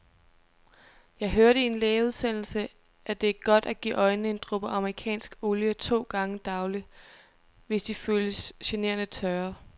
Jeg hørte i en lægeudsendelse, at det er godt at give øjnene en dråbe amerikansk olie to gange daglig, hvis de føles generende tørre.